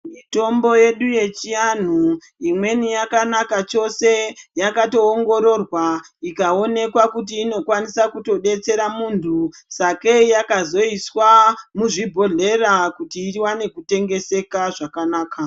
Mitombo yedu yechianhu imweni yakanaka chose yakatoongororwa ikaonekwa kuti inokwainisa kutodetsera munthu sakei yakatoiswa muzvibhodhlera kuti iwane kutengeseka zvakanaka.